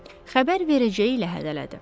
Xəbər verəcəyi ilə hədələdi.